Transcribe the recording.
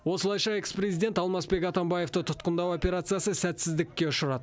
осылайша экс президент алмазбек атамбаевты тұтқындау операциясы сәтсіздікке ұшырады